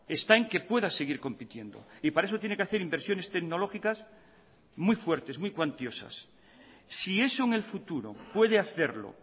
está en que pueda seguir compitiendo y para eso tiene que hacer inversiones tecnológicas muy fuertes muy cuantiosas si eso en el futuro puede hacerlo